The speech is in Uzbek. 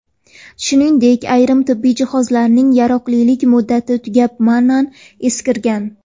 Shuningdek, ayrim tibbiy jihozlarning yaroqlilik muddati tugab, ma’nan eskirgan.